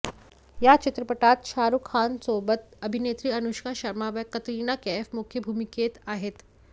या चित्रपटात शाहरूख खानसोबत अभिनेत्री अनुष्का शर्मा व कतरिना कैफ मुख्य भूमिकेत आहेत